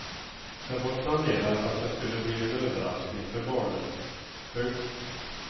Det var planerat att det skulle bli en överraskning för barnen. punkt